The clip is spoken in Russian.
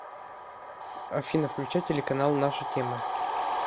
афина включай телеканал наша тема